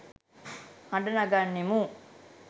හඬ නගන්නෙමු.